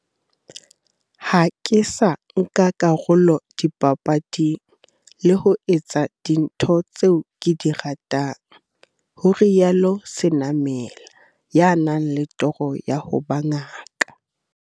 Ha ke sa nka karolo dipapading, le ho etsa dintho tseo ke di ratang, ho rialo Senamela, ya nang le toro ya ho ba ngaka.